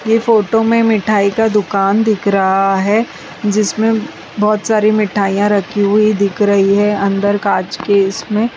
यह फोटो में मिठाई का दुकान दिख रहा है जिसमें बहोत सारी मिठाइयां रखी हुई दिख रही है अंदर कांच के इसमें।